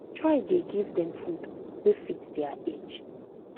try da give them food wa fit their age